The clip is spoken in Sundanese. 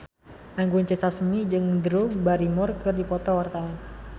Anggun C. Sasmi jeung Drew Barrymore keur dipoto ku wartawan